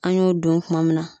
An y'o don kuma min na.